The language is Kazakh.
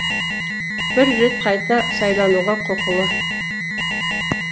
бір рет қайта сайлануға құқылы